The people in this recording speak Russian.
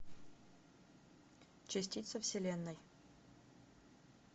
частица вселенной